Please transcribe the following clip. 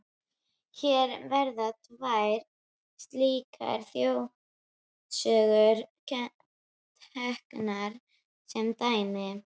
Hér verða tvær slíkar þjóðsögur teknar sem dæmi.